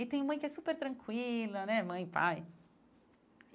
E tem mãe que é super tranquila né, mãe e pai.